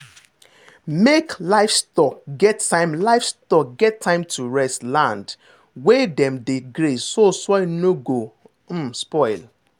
make livestock get time livestock get time to rest land wey dem dey graze so soil no go um spoil.